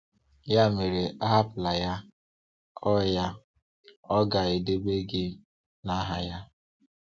Ya mere, ahapụla Ya; Ọ Ya; Ọ ga-edebe gị n'aha Ya.